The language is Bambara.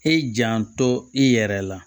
E janto i yɛrɛ la